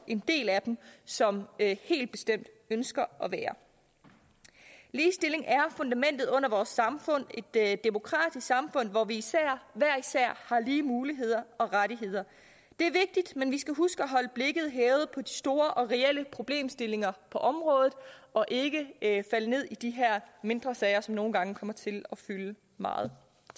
en del af dem som helt bestemt ønsker at være der ligestilling er fundamentet under vores samfund et demokratisk samfund hvor vi hver især har lige muligheder og rettigheder det er vigtigt men vi skal huske at holde blikket hævet op på de store og reelle problemstillinger på området og ikke falde ned i de her mindre sager som nogle gange kommer til at fylde meget